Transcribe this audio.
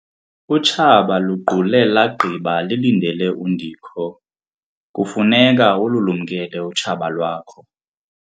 Utshaba luqule lagqiba lilindele undikho. kufuneka ululumkele utshaba lwakho